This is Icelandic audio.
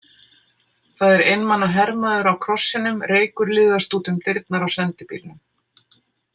Það er einmana hermaður á krossinum, reykur liðast út um dyrnar á sendibílnum.